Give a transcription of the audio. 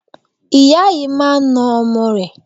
Ìyá yìí máa na ọmọ rẹ̀.